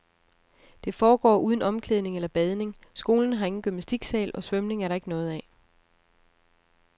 Det foregår uden omklædning eller badning, skolen har ingen gymnastiksal, og svømning er der ikke noget af.